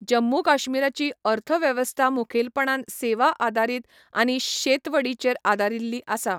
जम्मू काश्मीराची अर्थवेवस्था मुखेलपणान सेवा आदारीत आनी शेतवडीचेर आदारिल्ली आसा.